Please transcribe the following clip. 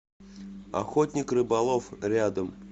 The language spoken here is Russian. охотник рыболов рядом